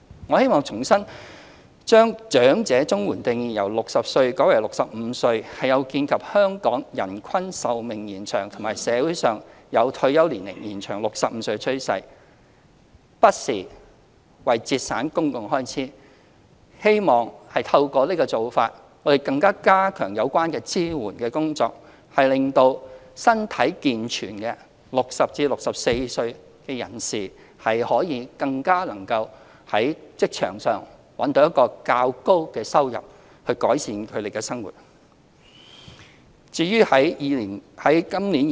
我希望重申，把長者綜援的定義由60歲改為65歲是有見香港人均壽命延長和社會有把退休年齡延至65歲的趨勢，不是為節省公共開支，希望透過這個做法，加強有關支援工作，令到身體健全的60至64歲人士更加能夠在職場覓得較高的收入，改善生活。